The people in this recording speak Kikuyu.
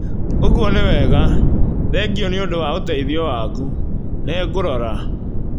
ũguo nĩ wega. Thengio nĩ ũndũ wa ũteithio waku. Nĩngũrora